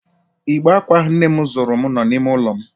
Igbe akwa ahụ nnem zụụrum nọ n'ime ụlọ m.